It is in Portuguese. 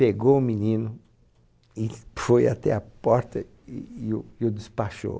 Pegou o menino e foi até a porta e e o e o despachou.